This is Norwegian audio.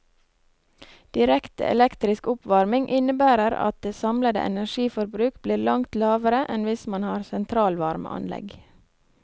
Direkte elektrisk oppvarming innebærer at det samlede energiforbruk blir langt lavere enn hvis man har sentralvarmeanlegg.